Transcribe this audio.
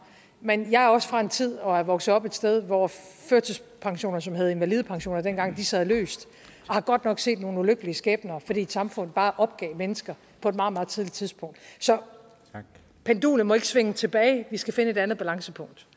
men jeg er også fra en tid og er vokset op et sted hvor førtidspensioner som hed invalidepensioner dengang sad løst og har godt nok set nogle ulykkelige skæbner fordi et samfund bare opgav mennesker på et meget meget tidligt tidspunkt så pendulet må ikke svinge tilbage vi skal finde et andet balancepunkt